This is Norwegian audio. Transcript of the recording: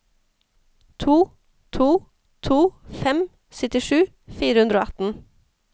to to to fem syttisju fire hundre og atten